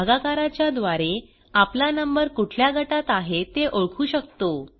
भागाकाराच्याद्वारे आपला नंबर कुठल्या गटात आहे ते ओळखू शकतो